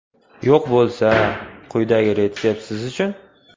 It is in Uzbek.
Yo‘q bo‘lsa, quyidagi retsept siz uchun.